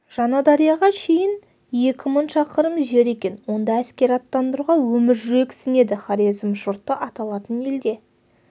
жаңадарияға шейін екі мың шақырым жер екен онда әскер аттандыруға өмір жүрексінеді хорезм жұрты аталатын елде